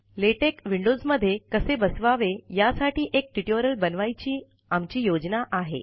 LaTeX windows मधे कसे बसवावे यासाठी एक ट्युटोरियल बनवायची आमची योजना आहे